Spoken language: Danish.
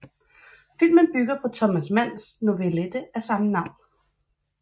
Filmen bygger på Thomas Manns novellette af samme navn